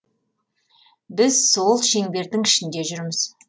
біз сол шеңбердің ішінде жүрміз